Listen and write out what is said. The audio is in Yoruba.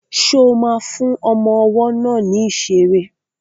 Ṣo ma fún ọmọ ọwọ́ náà ní ìṣeré?